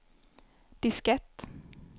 diskett